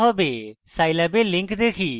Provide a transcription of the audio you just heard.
scilab এর links দেখি